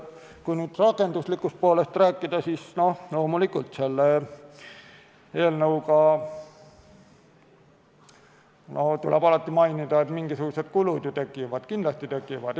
Kui rakenduslikust poolest rääkida, siis loomulikult tuleb mainida, et mingisugused kulud ju tekivad, kindlasti tekivad.